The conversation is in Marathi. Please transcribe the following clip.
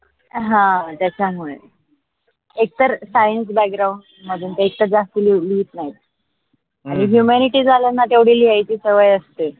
हा त्याच्या मुळे. एकत science background मध्ये एक तर जास्त लिहित नाही झालं तेवढ लिहाची सवय असते.